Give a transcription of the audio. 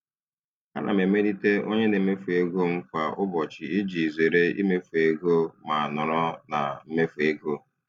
Ana m emelite onye na-emefu ego m kwa ụbọchị iji zere imefu ego ma nọrọ na mmefu ego.